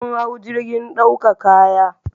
Mun hau jirgin ɗauka kaya